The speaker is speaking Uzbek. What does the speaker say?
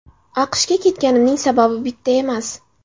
AQShga ketganimning sababi bitta emas.